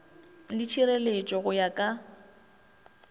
le tšhireletšo go ya ka